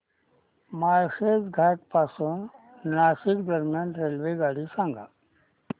माळशेज घाटा पासून नाशिक दरम्यान रेल्वेगाडी सांगा